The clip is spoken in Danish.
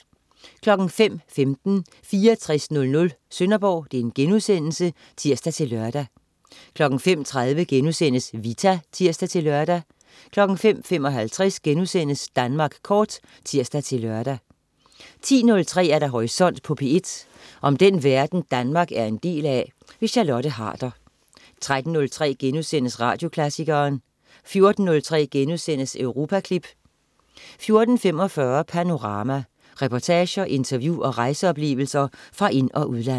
05.15 6400 Sønderborg* (tirs-lør) 05.30 Vita* (tirs-lør) 05.55 Danmark kort* (tirs-lør) 10.03 Horisont på P1. Om den verden, Danmark er en del af. Charlotte Harder 13.03 Radioklassikeren* 14.03 Europaklip* 14.45 Panorama. Reportager, interview og rejseoplevelser fra ind- og udland